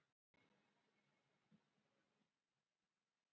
Einstaklega fíngerðar lágmyndir.